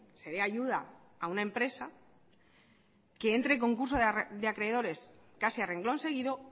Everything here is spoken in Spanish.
se dé ayuda a una empresa que entre en concurso de acreedores casi a renglón seguido